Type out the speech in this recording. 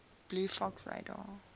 blue fox radar